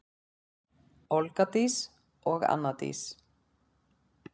Olga Dís og Anna Dís.